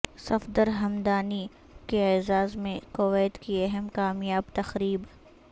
صفدر ھمدانی کے اعزاز میں کویت کی اہم کامیاب تقریب